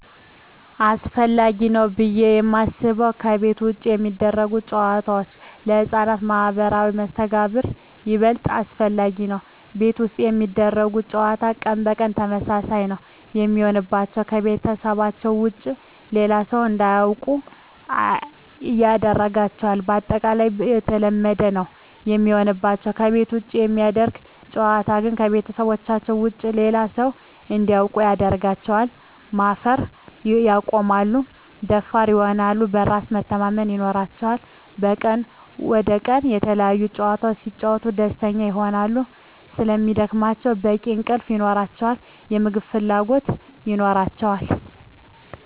አሰፈላጊ ነው ብዬ የማስበው ከቤት ውጭ የሚደረጉ ጨዋታዎች ለህፃናት ማህበራዊ መስተጋብር ይበልጥ አስፈላጊ ነው። ቤት ውስጥ የሚደረግ ጨዋታ ቀን በቀን ተመሳሳይ ነው የሚሆንባቸው , ከቤተሰባቸው ውጭ ሌላ ሰው እንዲያውቁ አያደርጋቸውም ባጠቃላይ የተለመደ ነው የሚሆንባቸው። ከቤት ውጭ የሚደረግ ጨዋታ ግን ከቤተሰባቸው ውጭ ሌላ ሰው እንዲያውቁ ያደርጋቸዋል, ማፈር ያቆማሉ, ደፋር ይሆናሉ, በራስ መተማመን ይኖራቸዋል," ከቀን ወደ ቀን የተለያዪ ጨዋታዎች ሲጫወቱ ደስተኛ ይሆናሉ ስለሚደክማቸው በቂ እንቅልፍ ይኖራቸዋል, የምግብ ፍላጎት ይኖራቸዋል።